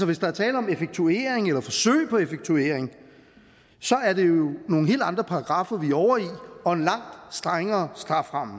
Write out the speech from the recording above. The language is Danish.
hvis der er tale om effektuering eller forsøg på effektuering er det nogle helt andre paragraffer vi er over i og en langt strengere strafferamme